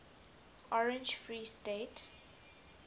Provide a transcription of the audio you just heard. orange free state